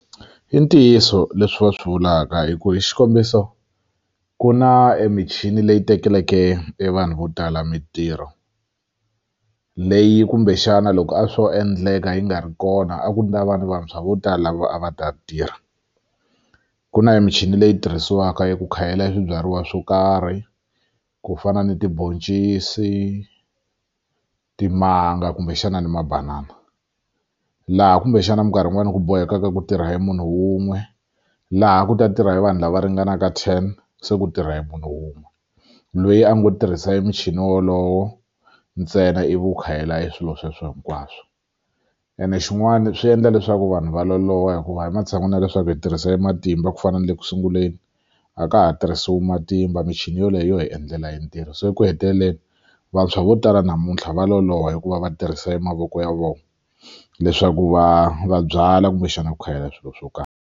I ntiyiso leswi va swi vulaka hi ku hi xikombiso ku na emichini leyi tekeleke e vanhu vo tala mintirho leyi kumbexana loko a swo endleka yi nga ri kona a ku ta va na vantshwa vo tala lava a va ta tirha ku na e michini leyi tirhisiwaka eku khayela e swibyariwa swo karhi ku fana ni tibhoncisi timanga kumbexana ni mabanana laha kumbexana minkarhi yin'wani ku bohekaka ku tirha hi munhu wun'we laha a ku ta tirha hi vanhu lava ringanaka ten se ku tirha hi munhu wun'we loyi a ngo tirhisa emichini wolowo ntsena ivi wu khayela e swilo sweswo hinkwaswo ene xin'wana swi endla leswaku vanhu va loloha hikuva ematshan'wini ya leswaku hi tirhisa matimba ku fana na le ku sunguleni a ka ha tirhisiwi matimba michini yoleyo yo hi endlela e ntirho se eku heteleleni vantshwa vo tala namuntlha va loloha hikuva va tirhisa mavoko ya vona leswaku va va byala kumbexana ku khayela swilo swo karhi.